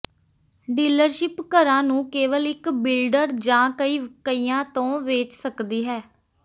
dealership ਘਰਾਂ ਨੂੰ ਕੇਵਲ ਇੱਕ ਬਿਲਡਰ ਜਾਂ ਕਈ ਕਈਆਂ ਤੋਂ ਵੇਚ ਸਕਦੀ ਹੈ